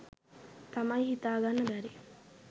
තමයි හිතාගන්න බැරි.